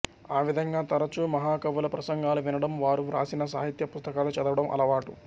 ఆ విధంగా తరచు మహాకవుల ప్రసంగాలు వినడం వారు వ్రాసిన సాహిత్య పుస్తకాలు చదవడం అలవాటు